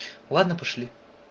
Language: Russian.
ладно пошли